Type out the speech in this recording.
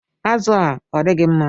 Azụ a, odigi mma?